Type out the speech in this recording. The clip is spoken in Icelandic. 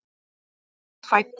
Lúna er fædd.